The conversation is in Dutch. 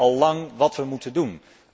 We weten al lang wat we moeten doen.